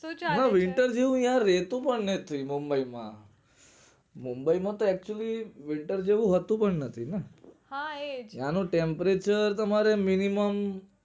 શું ચાલે છે winter જેવું યાર રેતુ પણ નથી મુંબઈ માં મુંબઈ માં તો actually winter જેવું હોતું પણ નથી ને હા એ ન્યાં નું temperature તમારે minimum